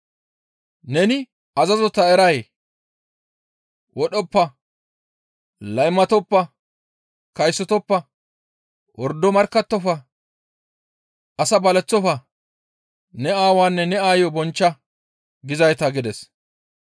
«Neni azazota eray? ‹Wodhoppa; laymatoppa; kaysotoppa; wordo markkattofa; as baleththofa; ne aawaanne ne aayo bonchcha› gizayta» gides.